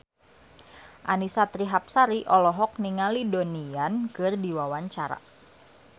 Annisa Trihapsari olohok ningali Donnie Yan keur diwawancara